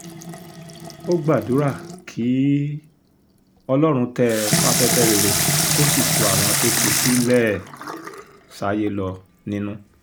ó gbàdúrà kí um ọlọ́run tẹ́ ẹ sáfẹ́fẹ́ rere kó sì tu àwọn tó fi sílẹ̀ um sáyé lọ nínú